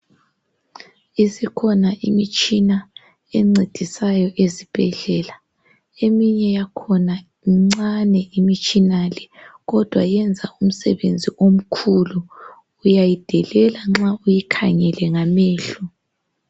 isikhona imitshina encedisayo ezibhedlela eminye yakhona mincane imitshina le kodwa yenza umsebenzi omkhulu uyayidelela ma uyikhangele ngamehlo